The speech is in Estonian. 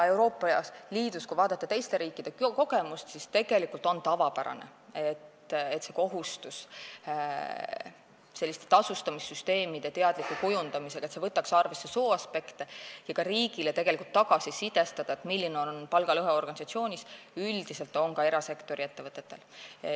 Kui vaadata teiste riikide kogemust Euroopa Liidus, siis tegelikult on tavapärane, et kohustus võtta selliste tasustamissüsteemide teadlikul kujundamisel arvesse sooaspekte ja ka riigile tagasisidestada, milline on organisatsioonis palgalõhe, on üldiselt ka erasektori ettevõtetel.